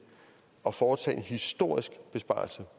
at foretage en historisk besparelse